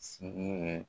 Sigi ye